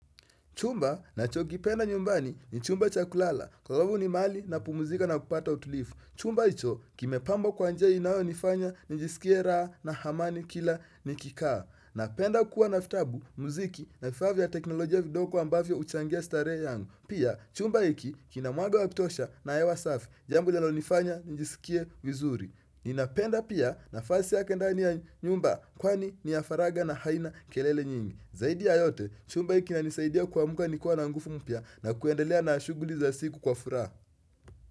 Chumba ninachokipenda nyumbani ni chumba cha kulala, kwa sababu ni mahali na pumzika na kupata utulivu. Chumba hicho kimepambwa kwa njia inayonifanya nijisikie raha na amani kila nikikaa. Napenda kuwa na vitabu, muziki na vifaa vya teknolojia vidogo ambavyo huchangia starehe yangu. Pia, chumba hiki kina mwanga wa kutosha na hewa safi, jambo linalonifanya nijisikie vizuri. Ninapenda pia nafasi yake ndani ya nyumba kwani ni ya faragha na haina kelele nyingi. Zaidi ya yote, chumba hiki kinanisaidia kuamka nikiwa na nguvu mpya na kuendelea na shughuli za siku kwa furaha.